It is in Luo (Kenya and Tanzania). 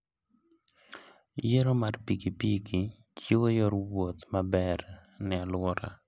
Yiero mar pikipiki chiwo yor wuoth maber ne alwora.